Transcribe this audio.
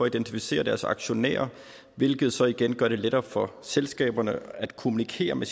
identificere deres aktionærer hvilket så igen gør det lettere for selskaberne at kommunikere med